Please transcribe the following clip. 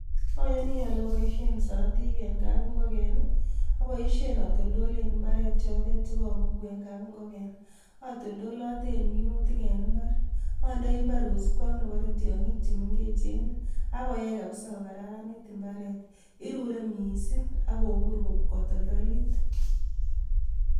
Ayani ale aboishe siratik eng kapingoken, aboishen atoltolen imbaret yotet chekabugu eng kapingoken. Atoltolaten minutik en imbar, andoi imbar kosupgei ak neparei tiog'ik chemengechen ak koyai kabisa kokararanit imbaret. Irurei mising ak kobur kotoltolit.